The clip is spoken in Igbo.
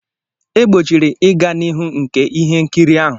E gbochiri ịga n'ihu nke ihe nkiri ahụ.